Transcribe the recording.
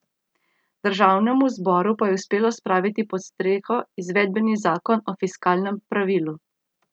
Državnemu zboru pa je uspelo spraviti pod streho izvedbeni zakon o fiskalnem pravilu.